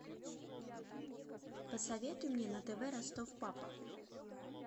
посоветуй мне на тв ростов папа